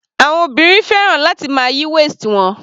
Àwọn obìnrin fẹ́ràn láti máa yí waist wọn.